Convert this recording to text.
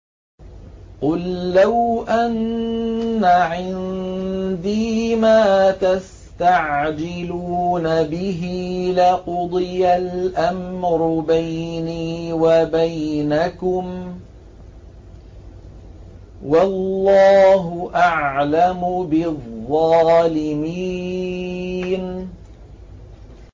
قُل لَّوْ أَنَّ عِندِي مَا تَسْتَعْجِلُونَ بِهِ لَقُضِيَ الْأَمْرُ بَيْنِي وَبَيْنَكُمْ ۗ وَاللَّهُ أَعْلَمُ بِالظَّالِمِينَ